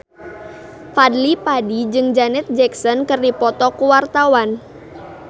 Fadly Padi jeung Janet Jackson keur dipoto ku wartawan